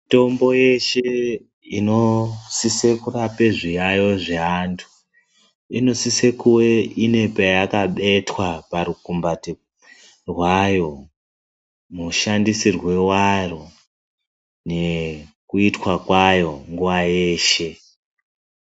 Mitombo yeshe inosisa kurapa zviyayo zvevandu ine sise kuva payakabetwa parukumbatu kwayo mashandisirwo awo nekuitwa kwawo nguva yeshe